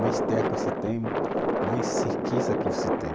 Mais terra que você tem, mais riqueza que você tem.